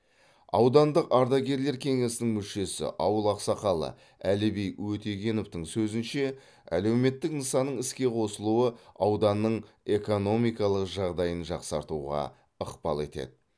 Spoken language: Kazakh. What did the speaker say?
аудандық ардагерлер кеңесінің мүшесі ауыл ақсақалы әліби өтегеновтің сөзінше әлеуметтік нысанның іске қосылуы ауданның экономикалық жағдайын жақсартуға ықпал етеді